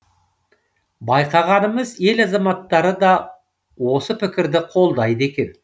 байқағанымыз ел азаматтары да осы пікірді қолдайды екен